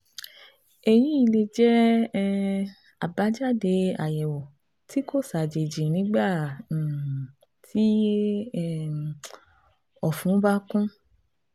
Èyí lè jẹ́ um àbájáde àyẹ̀wò tí kò ṣàjèjì nígbà um tí um ọ̀fun bá kún